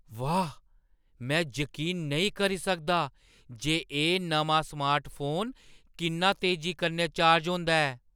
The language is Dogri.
वाह्, में जकीन नेईं करी सकदा जे एह् नमां स्मार्टफोन किन्ना तेजी कन्नै चार्ज होंदा ऐ!